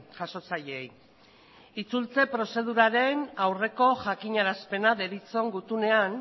jasotzaileei itzultze prozeduraren aurreko jakinarazpena deritzon gutunean